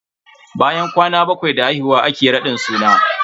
Bayan kwana bakwai da haihuwa ake raɗin suna.